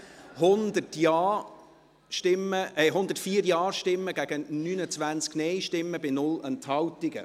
100 Ja-Stimmen, ich korrigiere mich, 104 Ja- gegen 29 Nein-Stimmen bei 0 Enthaltungen.